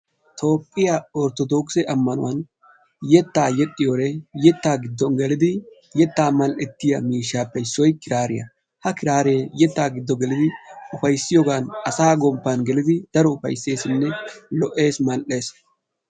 Toophiya orttodokisse ammanuwan yetta yexxiyode yettaa giddon gelidi yettaa mall"ettiya miishshappe issoy kiraariyaa, ha kiraare yettaa giddo gelidi ufayssiyoogan asa gomppan gelidi daro ufayssesinne lo"essi mall"essi.